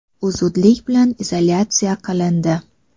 U zudlik bilan izolyatsiya qilindi.